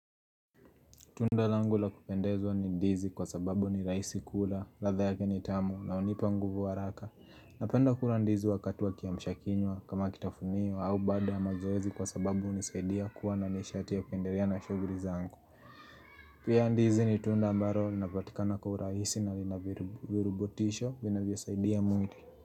Tunda langu la kupendezwa ni ndizi kwa sababu ni raisi kula, ratha yake ni tamu na hunipa nguvu haraka. Napenda kula ndizi wakati wa kiamshakinywa kama kitafunio au baada ya mazoezi kwa sababu hunisaidia kuwa na nishati ya kuendelea na shughuli zangu. Pia ndizi ni tunda ambalo linapatikana kwa uraisi na linavirubotisho vinavyo saidia mwili.